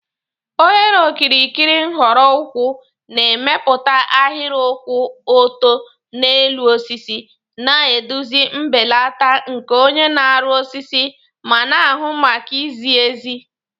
Oghere okirikiri nhọrọ ukwuu na-emepụta ahịrị kwụ ọtọ n'elu osisi, na-eduzi mbelata nke onye na-arụ osisi ma na-ahụ maka izi ezi